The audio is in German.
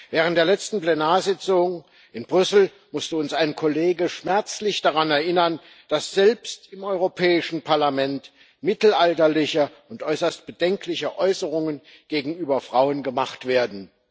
Während der letzten Plenarsitzung in Brüssel musste uns ein Kollege schmerzlich daran erinnern, dass selbst im Europäischen Parlament mittelalterliche und äußerst bedenkliche Äußerungen gegenüber Frauen gemacht werden.